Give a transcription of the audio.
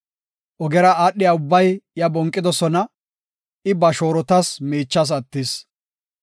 Ogera aadhiya ubbay iya bonqidosona; I ba shoorotas miichas attis.